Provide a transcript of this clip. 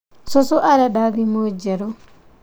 Cucu arenda thimũ njerũ